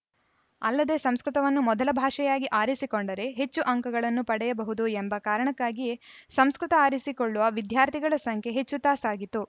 ಅಲ್ಲದೆ ಸಂಸ್ಕೃತವನ್ನು ಮೊದಲ ಭಾಷೆಯಾಗಿ ಆರಿಸಿಕೊಂಡರೆ ಹೆಚ್ಚು ಅಂಕಗಳನ್ನು ಪಡೆಯಬಹುದು ಎಂಬ ಕಾರಣಕ್ಕಾಗಿಯೇ ಸಂಸ್ಕೃತ ಆರಿಸಿಕೊಳ್ಳುವ ವಿದ್ಯಾರ್ಥಿಗಳ ಸಂಖ್ಯೆ ಹೆಚ್ಚುತ್ತಾ ಸಾಗಿತು